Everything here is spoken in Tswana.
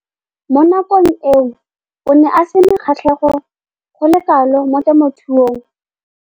Mo nakong eo o ne a sena kgatlhego go le kalo mo temothuong.